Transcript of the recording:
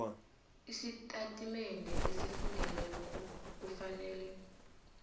isitatimende esifungelweko kufanele